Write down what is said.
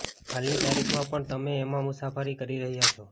હાલની તારીખમાં પણ તમે એમાં મુસાફરી કરી રહ્યાં છો